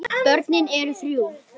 Börnin urðu þrjú.